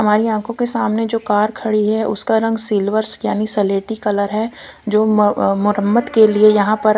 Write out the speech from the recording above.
हमारी आंखों के सामने जो कार खड़ी है उसका रंग सिल्वर्स यानी सलेटी कलर है जो अ मरम्मत के लिए यहां पर--